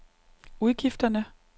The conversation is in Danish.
udgifterne